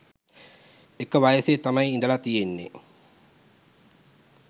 එක වයසේ තමයි ඉඳලා තියෙන්නේ.